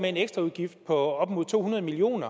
en ekstraudgift på op mod to hundrede million